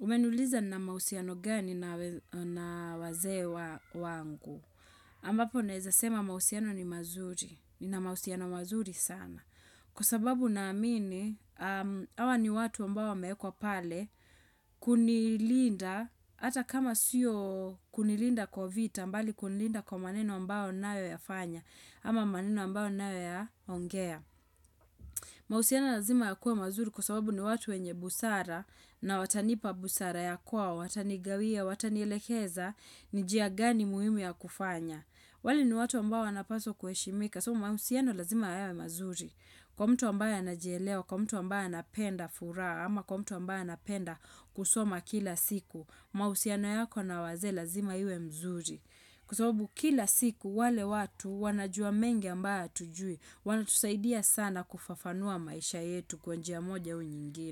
Umeniuliza nina mausiano gani na wazee wangu. Ambapo naeza sema mausiano ni mazuri. Ni na mausiano mazuri sana. Kwa sababu na amini, awa ni watu ambao wameekwa pale kunilinda. Ata kama siyo kunilinda kwa vita mbali kunilinda kwa maneno ambao ninayoyafanya. Ama maneno ambayo ninayoyaongea. Mausiano lazima ya kuwe mazuri kwa sababu ni watu wenye busara na watanipa busara ya kuwa, watanigawia, watanielekeza, nijia gani muhimu ya kufanya. Wale ni watu ambao wanapaswa kuheshimika. So mausiano lazima yawe mazuri. Kwa mtu ambayo anajelewa, kwa mtu ambayo anapenda furaha, ama kwa mtu ambayo anapenda kusoma kila siku. Mausiano yako na wazee lazima iwe mzuri. Kwa sababu kila siku wale watu wanajua mengi ambayo atujui, wanatusaidia sana kufafanua maisha yetu kwa njia moja au nyingine.